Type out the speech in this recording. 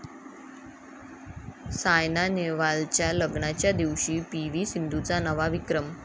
सायना नेहवालच्या लग्नाच्याच दिवशी पी.व्ही. सिंधूचा नवा विक्रम